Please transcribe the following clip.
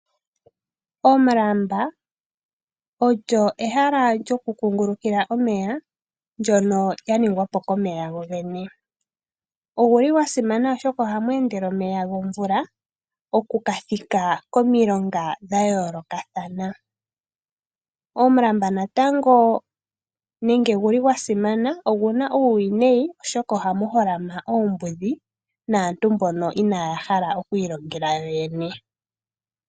Omulamba ogo ehala lyoku kungulukila omeya ndyono lyaningwa po komeya go gene. Ogwasimana oshoka ohamu endele omeya okuthika komilonga dhayoolokathana. Omulamba oguna woo uuwinayi oshoka ohagu holama oombudhi naantu mbono inaaya hala okwiilongela yo yene.